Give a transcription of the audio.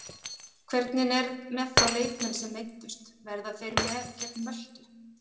Hvernig er með þá leikmenn sem meiddust verða þeir með gegn Möltu?